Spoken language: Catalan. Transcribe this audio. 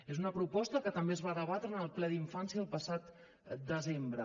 és una proposta que també es va debatre en el ple d’infància el passat desembre